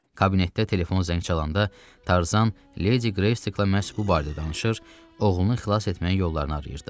Kabinətdə telefon zəng çalanda, Tarzan Ledi Greystokla məhz bu barədə danışır, oğlunu xilas etməyin yollarını arayırdı.